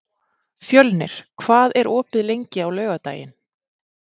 Fjölnir, hvað er opið lengi á laugardaginn?